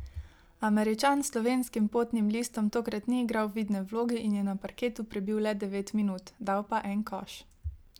Američan s slovenskim potnim listom tokrat ni igral vidne vloge in je na parketu prebil le devet minut, dal pa en koš.